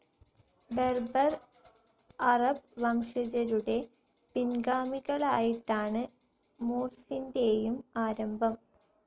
Berber, അറബ് വംശജരുടെ പിൻഗാമികളായിട്ടാണ് മൂർസിൻറെയും ആരംഭം.